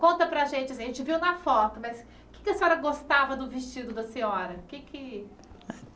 Conta para a gente assim, a gente viu na foto, mas o que é que a senhora gostava do vestido da senhora? O que é que